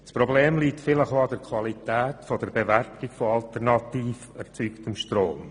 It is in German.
Das Problem liegt vielleicht auch bei der Qualität der Bewertung des alternativ erzeugten Stroms.